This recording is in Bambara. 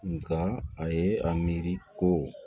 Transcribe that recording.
Nka a ye a miiri ko